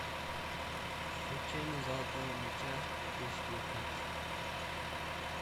вручение золотого мяча две тысячи девятнадцать